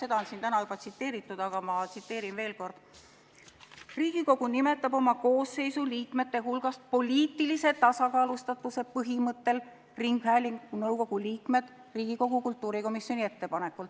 Seda on täna siin juba tsiteeritud, aga ma tsiteerin veel kord: "Riigikogu nimetab oma koosseisu liikmete hulgast poliitilise tasakaalustatuse põhimõttel ringhäälingunõukogu liikmed Riigikogu kultuurikomisjoni ettepanekul.